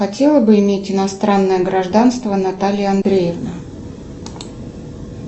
хотела бы иметь иностранное гражданство наталья андреевна